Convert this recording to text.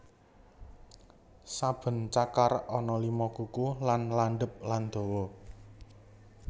Saben cakar ana lima kuku kang landhep lan dawa